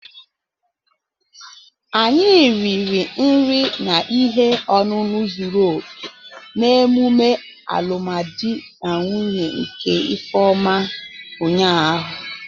Anyi riri nri na ihe ọṅụṅụ zuru oke n'emume alụmdi na nwunye nke ifeoma ụnyahụ